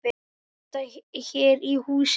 Lyfta er í húsinu.